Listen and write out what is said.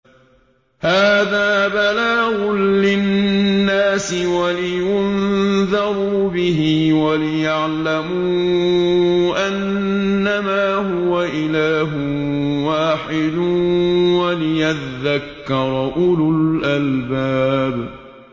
هَٰذَا بَلَاغٌ لِّلنَّاسِ وَلِيُنذَرُوا بِهِ وَلِيَعْلَمُوا أَنَّمَا هُوَ إِلَٰهٌ وَاحِدٌ وَلِيَذَّكَّرَ أُولُو الْأَلْبَابِ